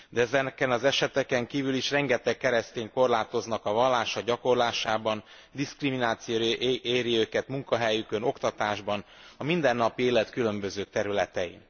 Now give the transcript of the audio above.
De ezeken az eseteken kívül is rengeteg keresztényt korlátoznak a vallásának gyakorlásában, diszkrimináció éri őket munkahelyükön, az oktatásban, a mindennapi élet különböző területein.